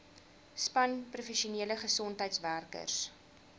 span professionele gesondheidswerkers